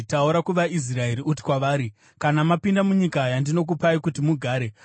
“Taura kuvaIsraeri uti kwavari: ‘Kana mapinda munyika yandinokupai kuti mugare,